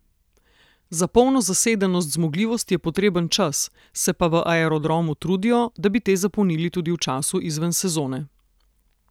Za polno zasedenost zmogljivosti je potreben čas, se pa v Aerodromu trudijo, da bi te zapolnili tudi v času izven sezone.